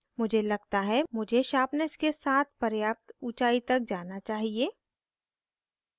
मुझे लगता है मुझे sharpness के साथ पर्याप्त उचाई तक जाना चाहिए